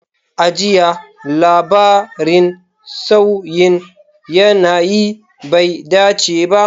A jiya, labarin sauyin yanayi bai dace ba.